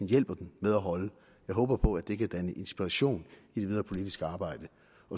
hjælper den med at holde jeg håber på at det kan danne inspiration i det videre politiske arbejde